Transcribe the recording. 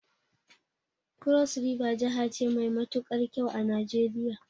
Cross River jahace mai matukar kyau a Nijeriya